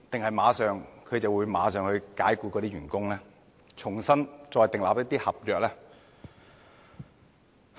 他們會否立即解僱員工，重新訂立一些合約？